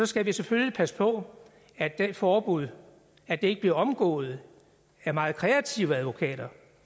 skal vi selvfølgelig passe på at det forbud ikke bliver omgået af meget kreative advokater